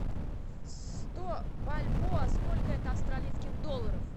сто бальбоа сколько это австралийских долларов